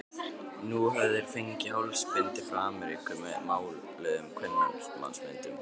Nú höfðu þeir fengið hálsbindi frá Ameríku með máluðum kvenmannsmyndum.